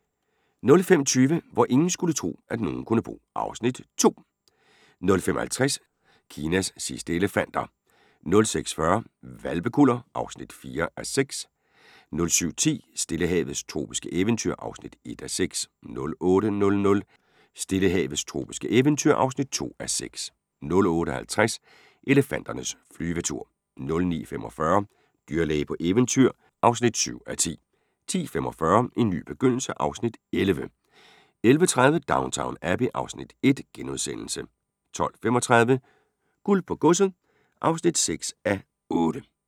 05:20: Hvor ingen skulle tro, at nogen kunne bo (Afs. 2) 05:50: Kinas sidste elefanter 06:40: Hvalpekuller (4:6) 07:10: Stillehavets tropiske eventyr (1:6) 08:00: Stillehavets tropiske eventyr (2:6) 08:50: Elefanternes flyvetur 09:45: Dyrlæge på eventyr (7:10) 10:45: En ny begyndelse (Afs. 11) 11:30: Downton Abbey (Afs. 1)* 12:35: Guld på godset (6:8)